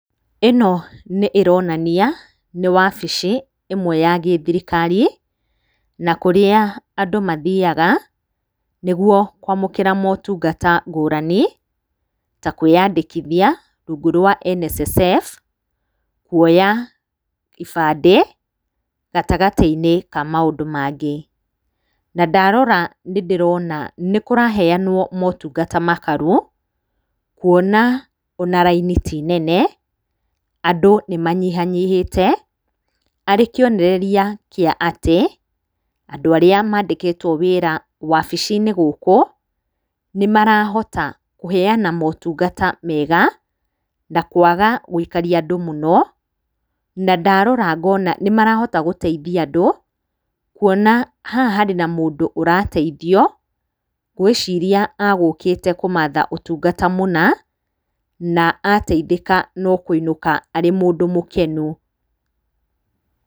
Ĩno nĩ ĩronania nĩ wabici ĩmwe ya gĩ-thirikari, na kũrĩa andũ mathiaga, nĩguo kwamũkĩra motungata ngũrani ta kwĩyandĩkithia rungu rwa NSSF, kuoya ibandĩ, gatagatĩ-inĩ ka maũndũ mangĩ. Na ndarora nĩ ndĩrona nĩ kũraheanwo motungata makaru, kuona ona raini tĩ nene, andũ nĩ manyihanyihĩte, ari kĩonereria kĩa atĩ, andũ arĩa mandĩkĩtwo wĩra wabici-inĩ gũkũ nĩmarahota kũheana motungata mega, na kũaga gũikaria andũ mũno, na ndarora ngona nĩmarahota gũteithia andũ, kuona haha harĩ na mũndũ ũrateithio. Ngwĩciria egũkĩte kũmatha ũtungata mũna, na ateitheka no kũinũka arĩ mũndũ mũkenu.